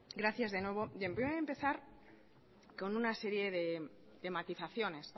gracias de nuevo y voy empezar con una serie de matizaciones